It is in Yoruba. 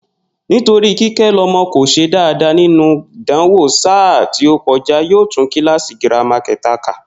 Nítorí Kíké̩lo̩mo̩ kò s̩e dáadáa nínú ìdánwò sáà tí ó ko̩já, yóò tún kíláàsì girama ké̩ta kà